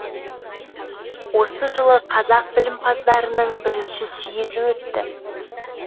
осы жылы қазақ білімпаздарының бірінші съезі өтті